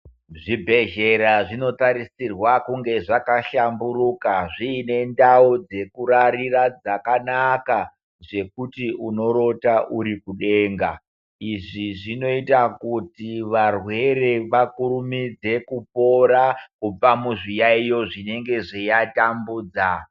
Zvibhedhlera zvinotarisirwa kunge zvakahlamburuka zviine ndau dzekurarira dzakanaka zvekuti unorota uri kudenga. Izvi zvinoite kuti varwere vakakurumidze kupora kubva kuzviyaiyo zvinenge zveiva tambudza.